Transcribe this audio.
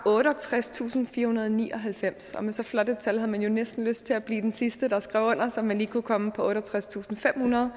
otteogtredstusinde og firehundrede og nioghalvfems og med så flot et tal havde man jo næsten lyst til at blive den sidste der skrev under så man kunne komme op på otteogtredstusinde og femhundrede